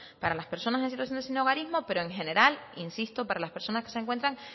para las personas en situación de sinhogarismo pero en general insisto para las personas que se encuentran